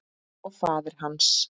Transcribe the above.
Og faðir hans?